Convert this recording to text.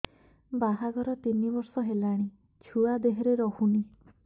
ବାହାଘର ତିନି ବର୍ଷ ହେଲାଣି ଛୁଆ ଦେହରେ ରହୁନି